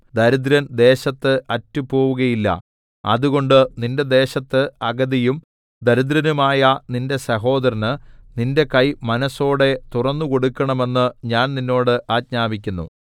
ദരിദ്രൻ ദേശത്ത് അറ്റുപോവുകയില്ല അതുകൊണ്ട് നിന്റെ ദേശത്ത് അഗതിയും ദരിദ്രനുമായ നിന്റെ സഹോദരന് നിന്റെ കൈ മനസ്സോടെ തുറന്നുകൊടുക്കണമെന്ന് ഞാൻ നിന്നോട് ആജ്ഞാപിക്കുന്നു